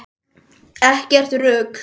Ekkert rugl!